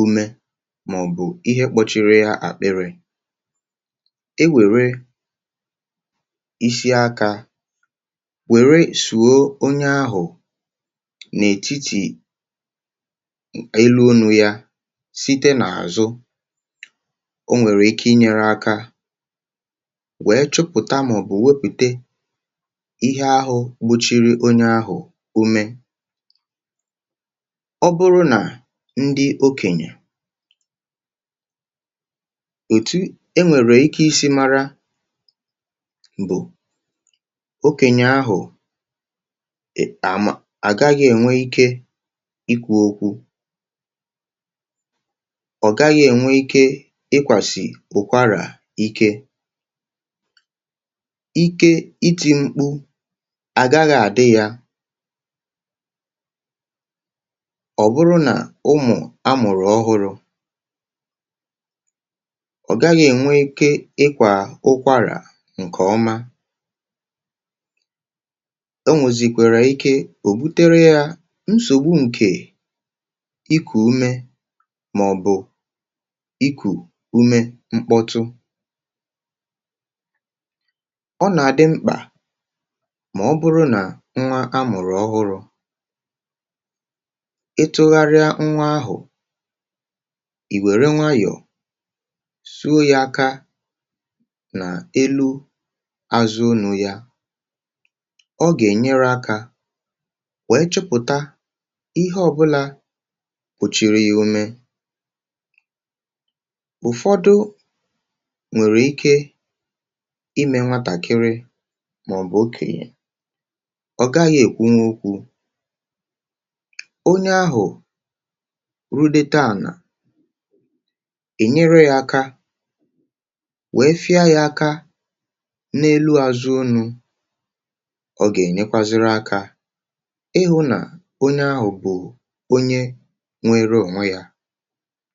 ume ya ma ọ bụ akpịrị ya, i kwesị ịtinye aka gị n’etiti azụ ya, n’etiti ubu abụọ, wee fee ya ihe mkpịsị aka siri ike n’azụ. Nke a nwere ike inyere aka iwepụ ma ọ bụ wepụrị ihe ọbụla jidere onye ahụ ume. Ọ bụrụ na ọ bụ okenye, um otu n’ime ihe ị ga-eji mara na onye ahụ na-ekpuchighị ume bụ na ọ gaghị enwe ike ikwu okwu, ma ọ bụ ime ụda ọ bụla. Onye ahụ nwere ike ịlụ ọgụ ime ume, ma ọ bụ kuwara ntakịrị, ma ọ gaghị ekwuo nke ọma. Ọ bụrụ na ọ bụ nwa ọhụrụ, nwa ahụ agaghị enwe ike ịkwa ákwá, ma ọ bụ ime ụda ọ bụla. Nke a na-egosi na e nwere nsogbu n’ime ume, ma ọ bụ na ihe jidere ụzọ ume. Mgbe e nwere nsogbu n’ime ume, um ma ọ bụ ume na-apụta ụda, ọ dị ezigbo mkpa ka e mee ngwa ngwa. Ọ bụrụ na ọ bụ nwa ọhụrụ, jiri nwayọọ tụgharịa nwa ahụ, tinye aka gị n’elu azụ ya, wee fee nwa ahụ nwayọọ iji wepụ ihe ọbụla jidere ụzọ ume ya. Ụfọdụ n’ime usoro ndị a, a pụkwara iji mee ya n’aka ụmụaka na ndị okenye. Ọ bụrụ na onye ahụ enweghị ike ikwu okwu, i nwere ike inyere ya aka site n’ịtụgharị ya ntakịrị n’ihu, ma fee ya nwayọọ ma sie ike n’elu azụ ya iji kpochapụ ụzọ ume. Nke a nwere ike ime ka onye ahụ nwee ume ọzọ nke ọma.